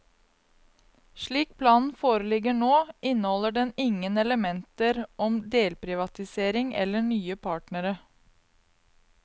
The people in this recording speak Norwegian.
Slik planen foreligger nå, inneholder den ingen elementer om delprivatisering eller nye partnere.